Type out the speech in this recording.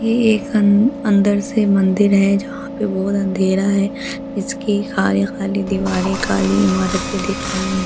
ये एक अन अंदर से मंदिर है जहाँ पे बहुत अंधेरा है इसकी खाली खाली दिवारे काली इमारते दिख रही है।